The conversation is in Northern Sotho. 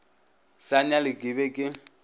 sa nyale ke be ke